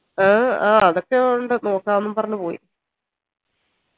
ആഹ് ആ അതൊക്കെ ഇൻഡ് നോക്കാം നോക്കാംന്ന് പറഞ്ഞു പോയി